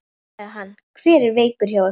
Nú, sagði hann, hver er veikur hjá ykkur?